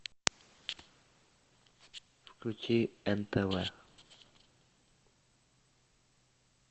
включи нтв